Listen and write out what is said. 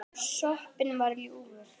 Sopinn var ljúfur.